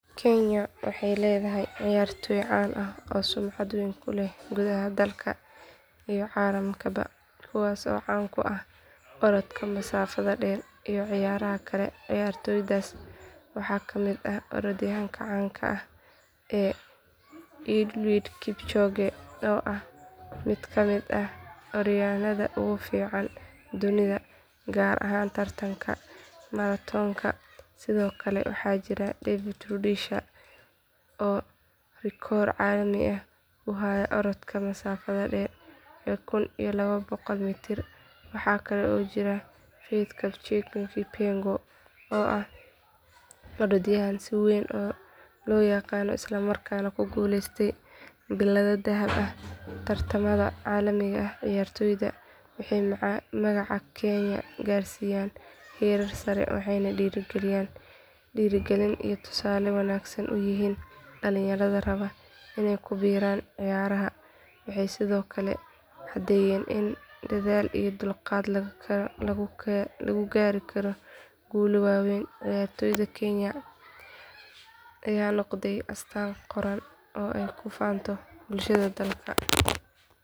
Kenya waxay leedahay ciyaartooy caan ah oo sumcad weyn ku leh gudaha dalka iyo caalamkaba kuwaas oo caan ku ah orodka masaafada dheer iyo ciyaaraha kale ciyaartooydaas waxaa ka mid ah orodyahanka caanka ah ee eliud kipchoge oo ah mid kamid ah orodyahanada ugu fiican dunida gaar ahaan tartanka maratoonka sidoo kale waxaa jira david rudisha oo rikoor caalami ah u haya orodka masaafada dhexe ee kun iyo laba boqol mitir waxaa kale oo jira faith chepngetich kipyegon oo ah orodyahanad si weyn loo yaqaan isla markaana ku guuleysatay billado dahab ah tartamada caalamiga ah ciyaartooydan waxay magaca kenya gaarsiiyeen heerar sare waxayna dhiirrigelin iyo tusaale wanaagsan u yihiin dhalinyarada raba inay ku biiraan ciyaaraha waxay sidoo kale caddeeyeen in dadaal iyo dulqaad lagu gaari karo guulo waaweyn ciyaartooyda kenya ayaa noqday astaan qaran oo ay ku faanto bulshada dalka.